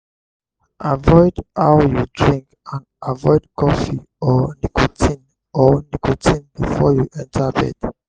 avoid how you drink and avoid cofee or nicotine or nicotine before you enter bed